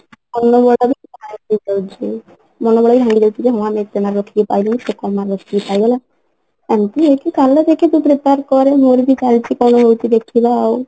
ଏତେ mark ରଖିକି ପାଇଲେନି ସେ କମ mark ରଖିକି ଏମତି ହେଇକି କାଲି ଠୁ ଦେଖ ତୁ prepare କରେ ମୋର ବି କାଲିଠୁ କଣ ହଉଛି ଦେଖିବା ଆଉ